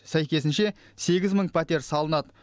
сәйкесінше сегіз мың пәтер салынады